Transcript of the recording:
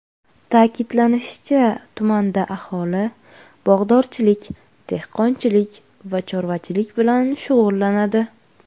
Ta’kidlanishicha, tumanda aholi bog‘dorchilik, dehqonchilik va chorvachilik bilan shug‘ullanadi.